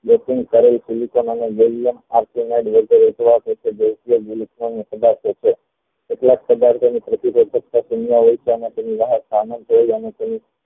કેટલાક પધારતોની પ્રતિ